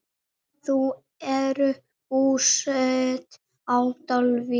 Þau eru búsett á Dalvík.